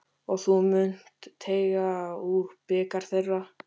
Og þú munt teyga úr bikar þeirra.